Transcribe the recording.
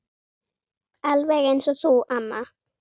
Alveg eins og þú, amma.